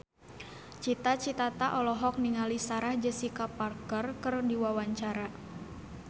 Cita Citata olohok ningali Sarah Jessica Parker keur diwawancara